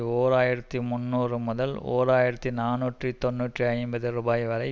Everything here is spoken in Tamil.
ஓர் ஆயிரத்தி முன்னூறு முதல் ஓர் ஆயிரத்தி நாநூற்றி தொன்னூற்றி ஐந்து ரூபாய் வரை